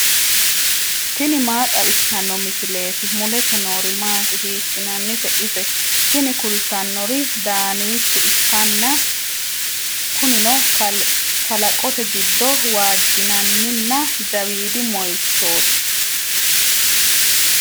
tini maa xawissanno misileeti ? mulese noori maati ? hiissinannite ise ? tini kultannori daaniicho ikkanna kunino kalaqote giddo waajjinanninna jawiidi moyiichooti.